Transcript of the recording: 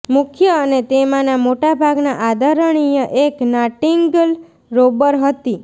મુખ્ય અને તેમાંના મોટા ભાગના આદરણીય એક નાટીંન્ગલ રોબર હતી